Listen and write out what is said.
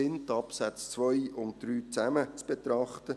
Es ergibt Sinn, die Absätze 2 und 3 zusammen zu betrachten.